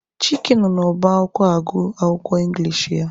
Chike nọ n'ọba akwụkwọ agụ akwụkwọ Ingilish ya.